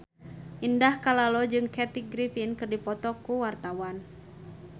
Indah Kalalo jeung Kathy Griffin keur dipoto ku wartawan